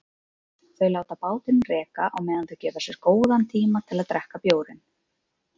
Þau láta bátinn reka á meðan þau gefa sér góðan tíma til að drekka bjórinn.